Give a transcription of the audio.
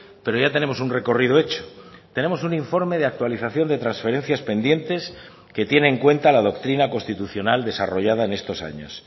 pero ya tenemos un recorrido hecho tenemos un informe de actualización de transferencias pendientes que tiene en cuenta la doctrina constitucional desarrollada en estos años